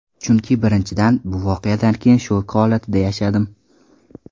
Chunki birinchidan, bu voqeadan keyin shok holatida yashadim.